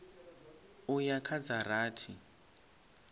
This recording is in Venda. u ya kha dza rathi